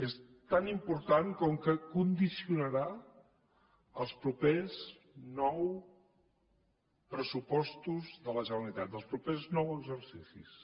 és tan important com que condicionarà els propers nou pressupostos de la generalitat dels propers nou exercicis